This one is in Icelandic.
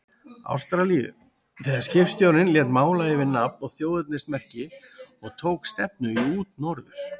Ástralíu, þegar skipstjórinn lét mála yfir nafn og þjóðernismerki og tók stefnu í útnorður.